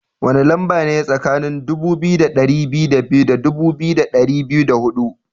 Wani lamba ne tsakanin dubu biyu da dari biyu da biyu da dubu biyu da dari biyu da hudu?